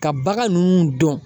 Ka bagan ninnu dɔn